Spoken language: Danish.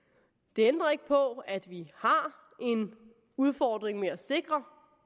det ændrer ikke på at vi har en udfordring med at sikre